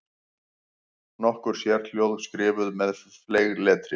Nokkur sérhljóð skrifuð með fleygletri.